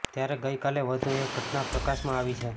ત્યારે ગઈ કાલે વધુ એક ઘટના પ્રકાશમાં આવી છે